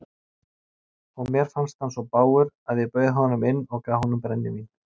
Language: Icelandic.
Og mér fannst hann svo bágur að ég bauð honum inn og gaf honum brennivín.